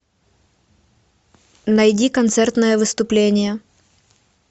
найди концертное выступление